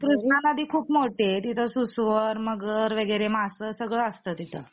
कृष्णा नदी खूप मोठी आहे. तिचा सुसुवर, मगर वगैरे मासे सगळं असतं तिथं